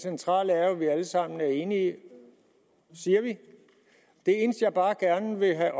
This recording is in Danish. centrale er jo at vi alle sammen er enige siger vi det eneste jeg bare gerne vil have